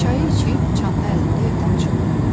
Çayı içib çanta əlində evdən çıxdı.